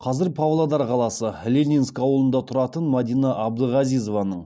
қазір павлодар қаласы ленинск ауылында тұратын мадина абдығазизованың